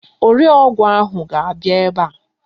Ore ọgwụ ahụ ga-abịa ebe a.